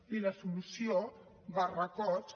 i la solució barracots